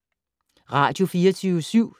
Radio24syv